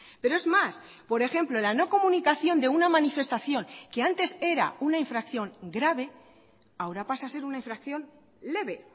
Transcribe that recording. pero es más por ejemplo la no comunicación de una manifestación que antes era una infracción grave ahora pasa a ser una infracción leve